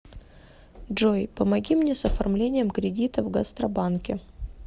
джой помоги мне с оформлением кредита в гастробанке